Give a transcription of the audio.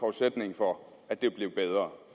forudsætning for at det blev bedre